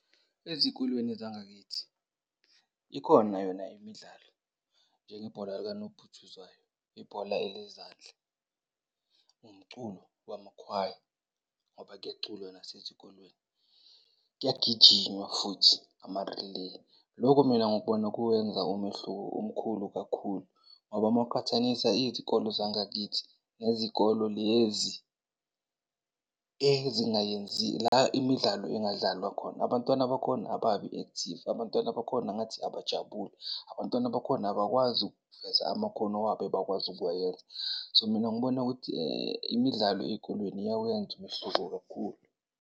Ezikolweni zangakithi ikhona yona imidlalo njengebhola likanobhutshuzwayo, ibhola elezandla, nomculo wamakhwaya ngoba kuyaculwa nasezikolweni, kuyagijinywa futhi ama-relay. Loko mina ngikubona kuwenza umehluko omkhulu kakhulu ngoba mawuqhathanisa izikole zangakithi nezikole lezi ezingayenzi, la imidlalo ingadlalwa khona abantwana bakhona ababi-active. Abantwana bakhona ngathi abajabule. Abantwana bakhona abakwazi ukuveza amakhono wabo ebakwazi ukuwayenza. So, mina ngibona ukuthi imidlalo ezikolweni iyawenza umehluko kakhulu.